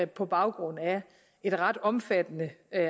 på baggrund af et ret omfattende